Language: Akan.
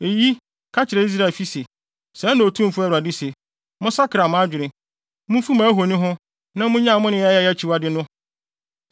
“Enti ka kyerɛ Israelfi se, ‘Sɛɛ na Otumfo Awurade se: Monsakra mo adwene. Mumfi mo ahoni ho na munnyae mo nneyɛe a ɛyɛ akyiwade no!